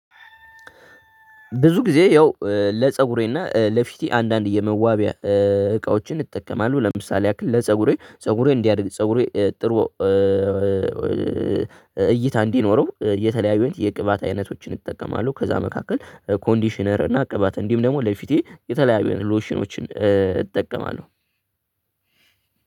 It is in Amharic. ብዙ ጊዜ ያው ለጸጉሬና ለፊቴ አንዳንድ የመዋቢያ እቃዎችን እጠቀማለሁ ለምሳሌ ያህል ለፀጉሬ ፀጉሬ እንዲያድግ ፀጉሬ ጥሩ እይታ እንዲኖረው የተለያዩ የቅባት አይነቶችን እጠቀማለሁ። ከዛ መካከል ኮንዲሽነር እና ቅባት እንዲሁም ደግሞ ለፊቴ የተለያዩ ሎሽኖችን እጠቀማለሁ።